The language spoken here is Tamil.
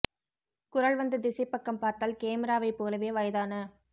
குரல் வந்த திசைப்பக்கம் பார்த்தால் கேமிராபை் போலவே வயதான